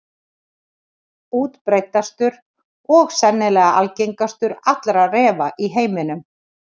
Útbreiddastur og sennilega algengastur allra refa í heiminum.